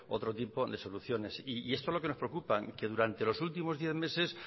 otro tipo de soluciones esto es lo que nos preocupa que durante los últimos diez meses